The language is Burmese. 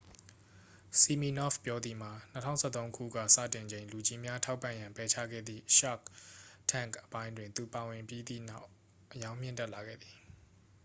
ဆီမီနော့ဖ်ပြောသည်မှာ 2013 ခုက စတင်ချိန် လူကြီးများ ထောက်ပံ့ရန် ပယ်ချခဲ့သည် shark tank အပိုင်းတွင် သူပါဝင်ပြီးသည့်နောက် အရောင်းမြင့်တက်လာခဲ့သည်